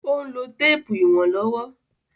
Ó n lo téèpù ìwọ̀n lówó